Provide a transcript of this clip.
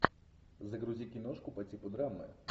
загрузи киношку по типу драмы